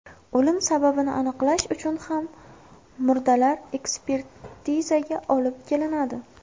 O‘lim sababini aniqlash uchun ham murdalar ekspertizaga olib kelinadi.